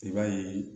I b'a ye